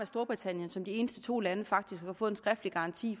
storbritannien som de eneste to lande faktisk har fået en skriftlig garanti